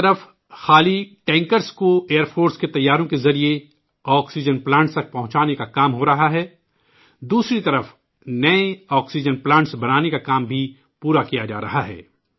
ایک طرف، خالی ٹینکروں کو ایئر فورس کے طیاروں کے ذریعے آکسیجن پلانٹس تک پہنچانے کا کام ہو رہا ہے تو دوسری طرف آکسیجن پلانٹس بنانا کا بھی کام پورا کیا جا رہا ہے